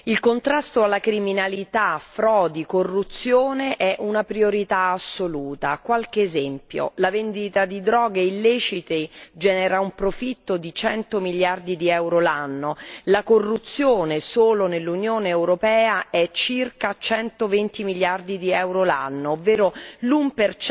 Il contrasto alla criminalità, alle frodi e alla corruzione è una priorità assoluta. Qualche esempio la vendita di droghe illecite genera un profitto di 100 miliardi di euro l'anno la corruzione, solo nell'Unione europea, è circa 120 miliardi di euro l'anno, ovvero l'1